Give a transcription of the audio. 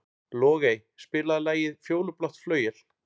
Logey, spilaðu lagið „Fjólublátt flauel“.